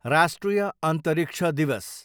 राष्ट्रिय अन्तरिक्ष दिवस